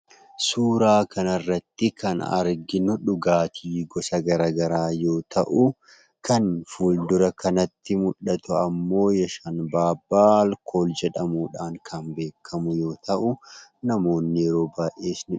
Suuraa kanarratti kan arginu dhugaatii gosa garaagaraa yoo ta'u, kan fuuldura kanatti mul'atu ammoo "yashalbaabbaa alkool" jedhamuudhaan kan beekamu yoo ta'u namoonni yeroo baay'ee ni dhugu.